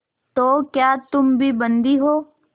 तो क्या तुम भी बंदी हो